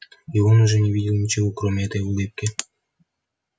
и он уже не видел ничего кроме этой улыбки